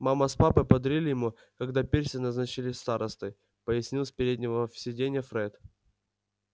мама с папой подарили ему когда перси назначили старостой пояснил с переднего сиденья фред